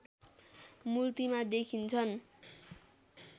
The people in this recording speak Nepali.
मूर्तिमा देखिन्छन्